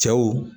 Cɛw